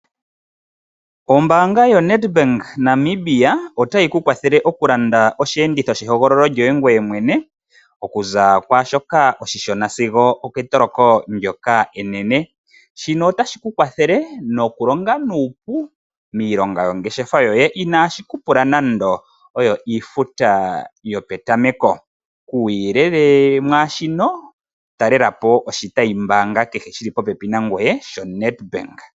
Ombaanga yoNedbank Namibia otayi ku kwathele okulanda osheenditho shehogololo lyoye okuza kwaa shoka oshishona sigo oketoloko ndyoka enene. Shino otashi ku kwathele nokulonga nuupu miilonga yongeshefa yoye inaashi ku pula nando iifuta yopetameko. Kuuyelele mwa shino talela po oshitayimbaanga shi li popepi nangoye shaNedbank.